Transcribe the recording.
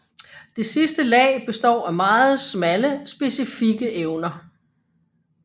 Det sidste lag består af meget smalle specifikke evner